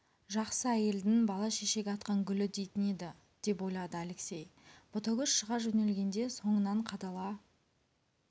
жақсы әйелдің бала шешек атқан гүлі дейтін еді деп ойлады алексей ботагөз шыға жөнелгенде соңынан қадала